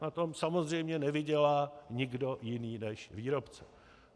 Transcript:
Na tom samozřejmě nevydělá nikdo jiný než výrobce.